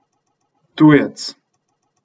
Tujec!